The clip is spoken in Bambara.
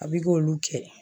A b'i k'olu kɛ